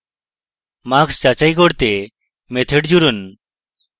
marks যাচাই করতে method জুড়ুন